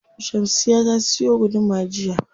Shamsiyya ta siyo guduma jiya.